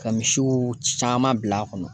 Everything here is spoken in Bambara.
Ka misiw caman bil'a kɔnɔ